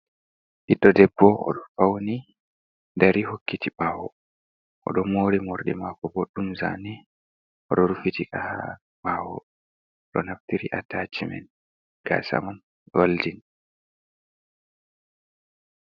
Ɓiɗɗo debbo "oɗo fauni dari hokkiti ɓawo. Oɗo mori, morɗi mako boɗɗum zane. Oɗo rufitika ha ɓawo oɗo naftiri atacimet. Gasa mai ɗo walti.